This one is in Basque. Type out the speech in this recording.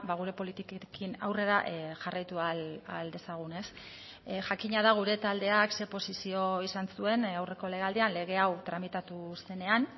gure politikekin aurrera jarraitu ahal dezagun jakina da gure taldeak ze posizio izan zuen aurreko legealdian lege hau tramitatu zenean